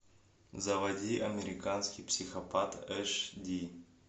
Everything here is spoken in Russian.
заводи американский психопат эш ди